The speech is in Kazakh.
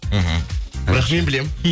мхм бірақ мен білемін